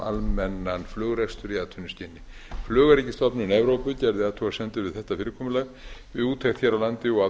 almennan flugrekstur í atvinnuskyni flugöryggisstofnun evrópu gerði athugasemd við þetta fyrirkomulag í úttekt hér á landi og af